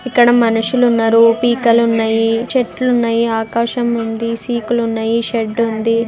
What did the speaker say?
ఇక్కడ మనుషులున్నారు పీకలున్నాయి చెట్లున్నాయి ఆకాశముంది సీకులున్నాయి షెడ్ ఉంది .